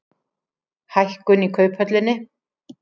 Hækkun í Kauphöllinni